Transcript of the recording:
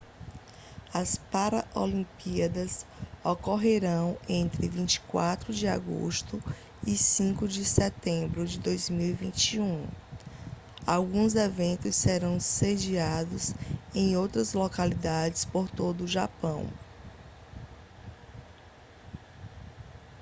as paraolimpíadas ocorrerão entre 24 de agosto e 5 de setembro de 2021 alguns eventos serão sediados em outras localidades por todo o japão